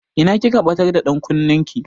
Ina kika ɓatar da ɗankunnen ki?